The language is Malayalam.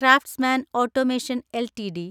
craftsman automation LTD